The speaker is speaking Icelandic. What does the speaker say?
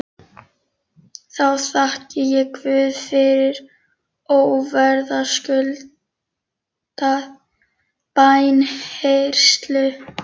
Þá þakkaði ég Guði fyrir óverðskuldaða bænheyrslu.